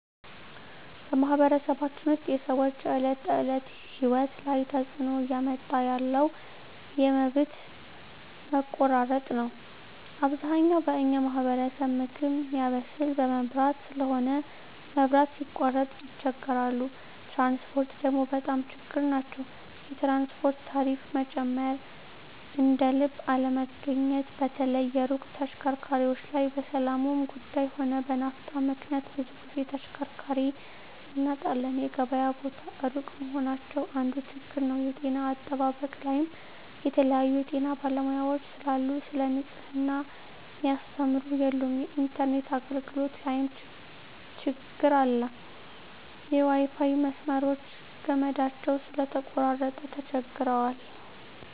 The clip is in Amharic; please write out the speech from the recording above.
በማኅበረሰባችን ውስጥ የሰዎች የዕለት ተእለት ህይወት ላይ ትጽእኖ እያመጣ ያለው የመብት መቆራረጥ ነዉ አብዛኛው በኛ ማህበረሰብ ምግብ ሚያበስል በመብራት ስለሆነ መብራት ሲቃረጥ ይቸገራሉ ትራንስፖርት ደግሞ በጣም ችግር ናቸዉ የትራንስፖርት ታሪፋ መጨመር እደልብ አለመገኘት በተለይ የሩቅ ተሽከርካሪዎች ላይ በሠላሙም ጉዱይ ሆነ በናፍጣ ምክንያት ብዙ ግዜ ተሽከርካሪ እናጣለን የገበያ ቦታ እሩቅ መሆናቸው አንዱ ችግር ነዉ የጤና አጠባበቅ ላይም የተለያዩ የጤና ባለሙያዎች ስለሉ ሰለ ንጽሕና ሚያስተምሩ የሉም የኢንተርነት አገልግሎት ላይም ትግር አለ የዋይፋይ መስመሮች ገመዳቸው ስለተቆራረጠ ተቸግረዋል